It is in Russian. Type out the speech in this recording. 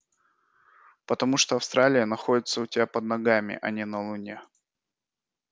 потому что австралия находится у тебя под ногами а не на луне